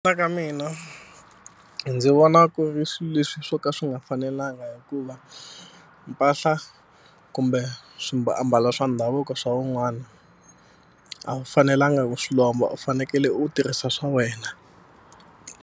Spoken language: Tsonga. mina ndzi vona ku ri swi leswi swo ka swi nga fanelanga hikuva mpahla kumbe ambala swa ndhavuko swa wun'wana a wu fanelanga ku swi lomba u fanekele u tirhisa swa wena.